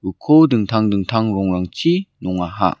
uko dingtang dingtang rongrangchi nongaha.